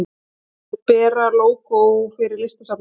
Er Bera lógó fyrir Listasafnið?